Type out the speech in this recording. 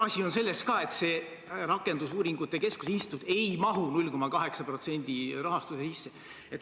Asi on ka selles, et see rakendusuuringute keskuse instituut ei mahu 0,8% rahastuse sisse.